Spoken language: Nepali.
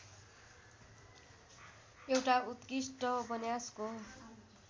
एउटा उत्कृष्ट उपन्यासको